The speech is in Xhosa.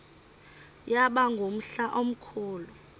yaba ngumhla omkhulu